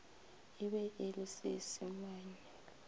e be e le seisemane